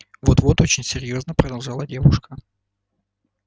вот вот очень серьёзно продолжала девушка